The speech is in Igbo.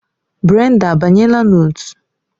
Brenda abanyela na otu?